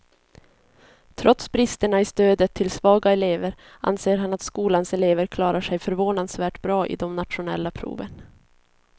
Trots bristerna i stödet till svaga elever anser han att skolans elever klarar sig förvånansvärt bra i de nationella proven.